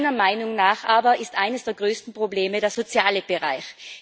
Meiner Meinung nach aber ist eines der größten Probleme der soziale Bereich.